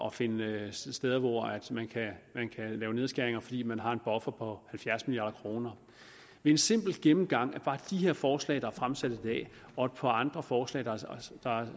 at finde steder hvor man kan lave nedskæringer fordi man har en buffer på halvfjerds milliard kroner ved en simpel gennemgang af bare de her forslag der er fremsat i dag og et par andre forslag der